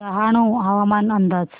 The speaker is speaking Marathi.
डहाणू हवामान अंदाज